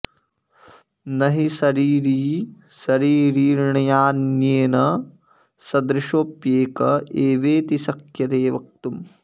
न हि शरीरी शरीरिणान्येन सदृशोऽप्येक एवेति शक्यते वक्तुम्